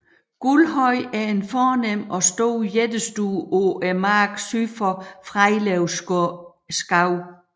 Guldhøj er en fornem og stor jættestue på marken syd for Frejlev Skov